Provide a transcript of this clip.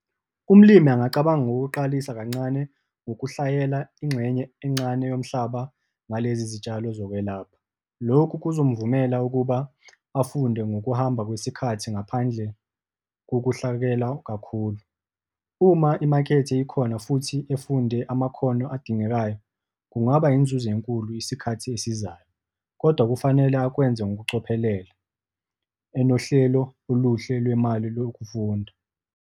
Umlimi angacabanga ngokuqalisa kancane, ngokuhlayela ingxenye encane yomhlaba ngalezi zitshalo zokwelapha. Lokhu kuzomvumela ukuba afunde ngokuhamba kwesikhathi ngaphandle kokuhlakelwa kakhulu. Uma imakethe ikhona futhi efunde amakhono adingekayo, kungaba yinzuzo enkulu isikhathi esizayo, kodwa kufanele akwenze ngokucophelela, enohlelo oluhle lwemali lokufunda.